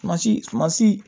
Masi masi